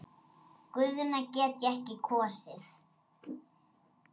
Guðna get ég ekki kosið.